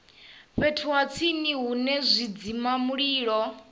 fhethu ha tsini hune zwidzimamulilo